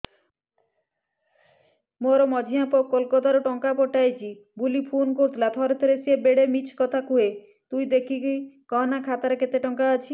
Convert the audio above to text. ମୋର ମଝିଆ ପୁଅ କୋଲକତା ରୁ ଟଙ୍କା ପଠେଇଚି ବୁଲି ଫୁନ କରିଥିଲା ଥରେ ଥରେ ସିଏ ବେଡେ ମିଛ କଥା କୁହେ ତୁଇ ଦେଖିକି କହନା ଖାତାରେ କେତ ଟଙ୍କା ଅଛି